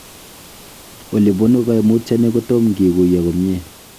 Ilebunu koimutyoni kotom kikuyo komie.